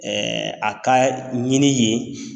A ka ɲini yen.